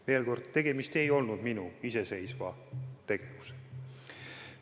Veel kord: tegemist ei olnud minu iseseisva tegevusega.